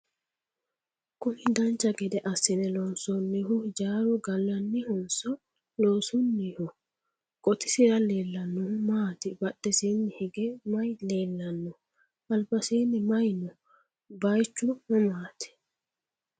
kuni dancha gede assine loonsoonnihu hijaaru gallannihonso loosunniho? qotisira leellannohu maati? badhesiinni hige maye leellannoho? albasiini maye no? bayeechu mamaati?